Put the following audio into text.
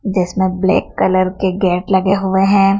जिसमें black colour के gate लगे हुवे हैं।